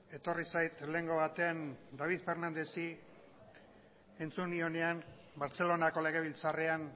etorri zait lehengo batean david fernandezi entzun nioenean bartzelonako legebiltzarrean